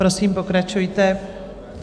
Prosím, pokračujte.